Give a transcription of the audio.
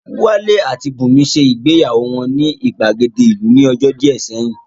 Wálé àti Bùnmi ṣe ìgbéyàwó wọn ní ìgbàgede ìlú ní ọjọ́ díẹ̀ sẹ́yìn